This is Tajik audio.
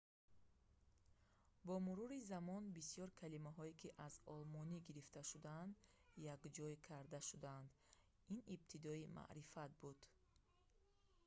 бо мурури замон бисёр калимаҳое ки аз олмонӣ гирифта шудаанд якҷоя карда шудаанд ин ибтидои маърифат буд